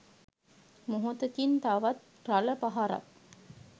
මොහොතකින් තවත් රළ පහරක්